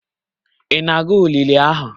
Ị na-aga olili ahụ?